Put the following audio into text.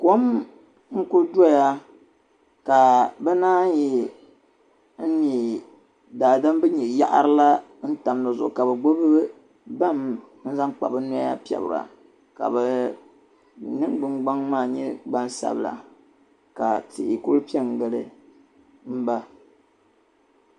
Kom n-ku dɔya ka naan yi me daadam din nyɛ yaɣiri la n-tam di zuɣu ka bɛ gbibi bam n-zaŋ kpa bɛ noya piɛbira ka bɛ niŋgbuŋgbaŋ maa nyɛ gbansabila ka tihi ku pe n-gili ba.